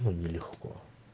но нелегко